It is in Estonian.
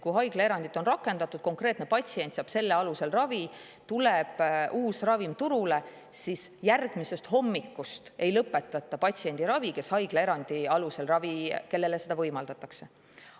Kui haiglaerandit on rakendatud, konkreetne patsient saab selle alusel ravi ja tuleb uus ravim turule, siis järgmisest hommikust ei lõpetata patsiendi ravi, kellele haiglaerandi alusel ravi võimaldatakse.